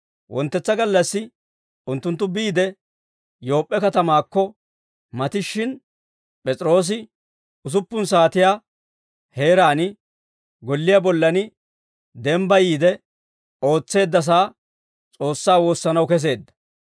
Wonttetsa gallassi unttunttu biide, Yoop'p'e katamaakko matishshin, P'es'iroosi usuppun saatiyaa heeraan golliyaa bollan dembbayiide ootseeddasaa S'oossaa woossanaw keseedda.